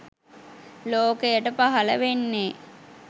ලෝකයට පහළ වෙන්නේ